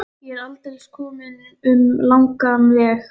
Ég er aldeilis kominn um langan veg.